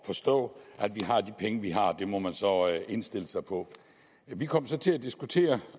forstå at vi har de penge vi har det må man så indstille sig på vi kom så til at diskutere